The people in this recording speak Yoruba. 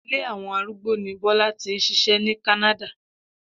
Ilé àwo̩n arúgbó ni Bó̩lá ti ń s̩is̩é̩ ní Kánádà